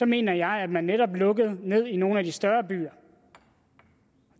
mener jeg at man netop lukkede ned i nogle af de større byer